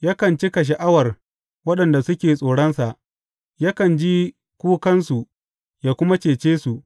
Yakan cika sha’awar waɗanda suke tsoronsa; yakan ji kukansu yă kuma cece su.